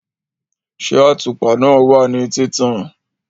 ṣé àtùpà náà wà ní títàn?